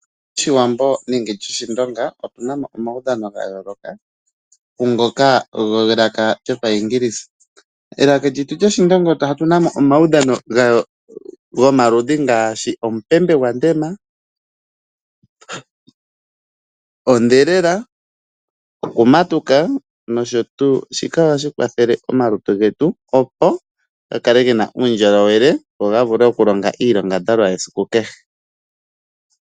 Oshiwambo nenge tutye Oshindonga otuna mo omaudhano ga yooloka kungoka gelaka lyopayiingilisa. Elaka lyetu lyOshindonga otuna mo omaudhano gomaludhi ngaashi omupembe gwandema, odhelela, okumatuka noshotu. Shika ohashi kwathele omalutu getu opo ga kale gena uundjolowele go ga vule okulonga iilongadhalwa yesiku kehe.